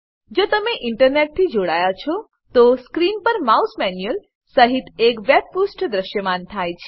જો તમે ઇન્ટરનેટથી જોડાયા છો તો સ્ક્રીન પર માઉસ મેન્યુઅલ સહીત એક વેબ પુષ્ઠ દ્રશ્યમાન થાય છે